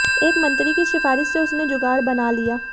एक मंत्री की सिफारिश से उसने जुगाड़ बना लिया